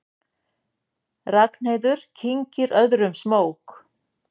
Ragnheiður kyngir öðrum smók.